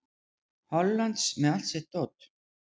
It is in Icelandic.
Hollands með allt sitt dót.